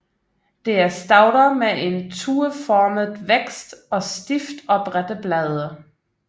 Det er stauder med en tueformet vækst og stift oprette blade